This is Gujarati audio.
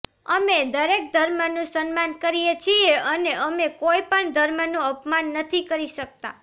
અમે દરેક ધર્મનું સન્માન કરીએ છીએ અને અમે કોઈ પણ ધર્મનું અપમાન નથી કરી શકતા